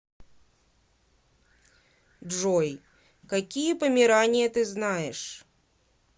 джой какие померания ты знаешь